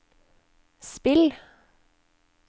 spill